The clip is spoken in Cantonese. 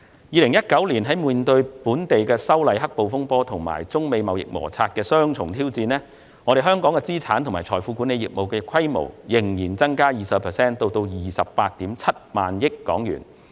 2019年，在面對反修例"黑暴"風波及中美貿易摩擦的雙重挑戰下，香港資產及財富管理業務的規模仍增加 20% 至 287,000 億港元。